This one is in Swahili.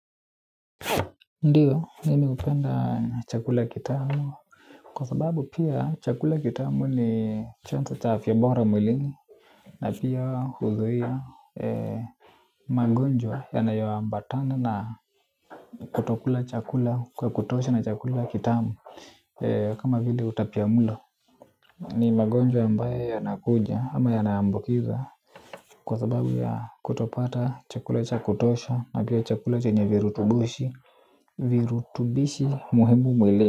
Ndiyo mimi hupenda chakula kitamu kwa sababu pia chakula kitamu ni chanzo cha afya bora mwilini na pia huzuia ee magonjwa yanayo ambatana na kutokula chakula kwa kutosha na chakula kitamu ee kama vili utapiamlo ni magonjwa ambaye yanakuja ama yanaambukiza kwa sababu ya kutopata chakula cha kutosha na pia chakula chenye virutubishi virutubishi muhimu mwilini.